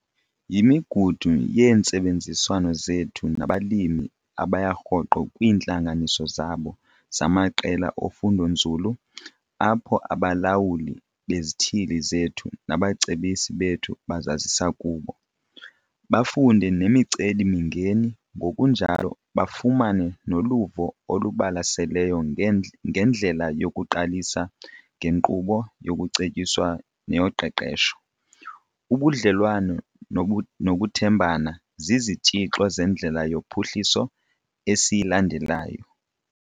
Yimigudu yeentsebenziswano zethu nabalimi abaya rhoqo kwiintlanganiso zabo zamaqela ofundonzulu apho abaLawuli beziThili zethu nabaCebisi bethu bazazisa kubo, bafunde nemiceli-mingeni ngokunjalo bafumane noluvo olubalaseleyo ngendlela yokuqalisa ngenkqubo yokucetyiswa neyoqeqesho. Ubudlelwane nokuthembana zizitshixo zendlela yophuhliso esiyilandelayo.